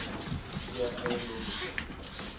keer eiendom besit